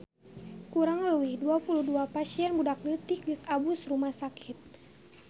Kurang leuwih 22 pasien budak leutik geus asup rumah sakit